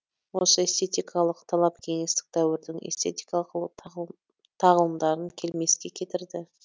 осы эстетикалық талап кеңестік дәуірдің эстетикалық тағылымдарын келмеске кетірді